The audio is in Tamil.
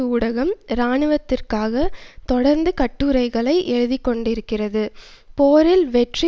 ஊடகம் இராணுவத்திற்காக தொடர்ந்து கட்டுரைகளை எழுதி கொண்டிருக்கிறது போரில் வெற்றி